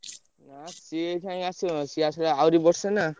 ନା ସିଏ ଅଇଖା ଆସିବ ସିଏ ଆସିବ ଯାଇଁ ଆହୁରି ବର୍ଷେ ନା।